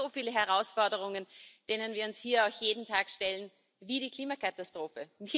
Wir haben so viele Herausforderungen, denen wir uns hier jeden Tag stellen, wie die Klimakatastrophe.